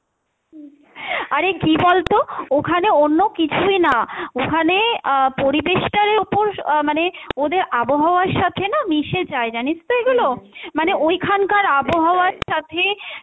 আরে কী বলতো ওখানে অন্য কিছুই না ওখানে আহ পরিবেশটার ওপর আহ মানে ওদের আবহাওয়ার সাথে না মিশে যাই জানিস তো এগুলো, মানে ঐখানকার আবহাওয়ার সাথে,